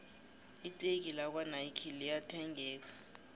iteki lakwo nayikhi liya thengeka